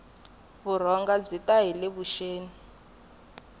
vurhonga byi ta hile vuxeni